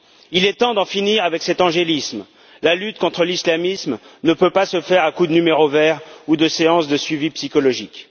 Il est temps d'en finir avec cet angélisme, la lutte contre l'islamisme ne peut pas se faire à coup de numéros verts ou de séances de suivi psychologique!